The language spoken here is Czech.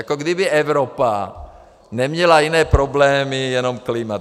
Jako kdyby Evropa neměla jiné problémy, jenom klima.